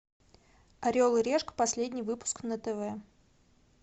орел и решка последний выпуск на тв